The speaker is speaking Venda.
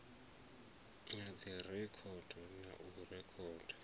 ha dzirekhodo na u rekhoda